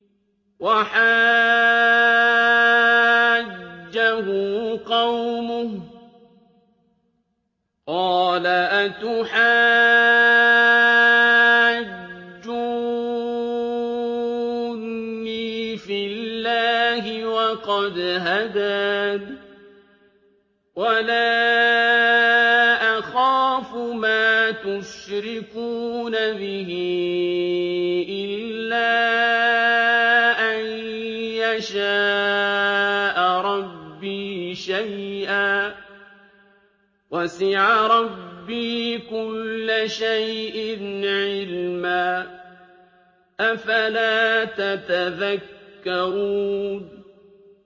وَحَاجَّهُ قَوْمُهُ ۚ قَالَ أَتُحَاجُّونِّي فِي اللَّهِ وَقَدْ هَدَانِ ۚ وَلَا أَخَافُ مَا تُشْرِكُونَ بِهِ إِلَّا أَن يَشَاءَ رَبِّي شَيْئًا ۗ وَسِعَ رَبِّي كُلَّ شَيْءٍ عِلْمًا ۗ أَفَلَا تَتَذَكَّرُونَ